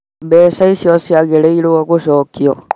Mbeca icio ciagĩrĩirwo gũcokio